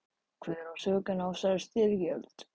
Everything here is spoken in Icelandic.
Hver á sökina á þessari styrjöld?